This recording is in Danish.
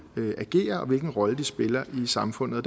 agerer og hvilken rolle de spiller i samfundet